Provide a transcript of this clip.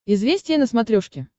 известия на смотрешке